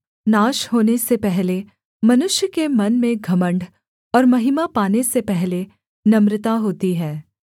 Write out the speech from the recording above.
नाश होने से पहले मनुष्य के मन में घमण्ड और महिमा पाने से पहले नम्रता होती है